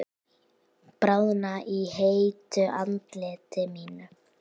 Bráðna á heitu andliti mínu.